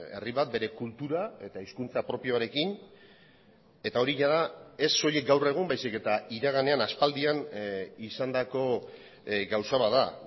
herri bat bere kultura eta hizkuntza propioarekin eta hori jada ez soilik gaur egun baizik eta iraganean aspaldian izandako gauza bat da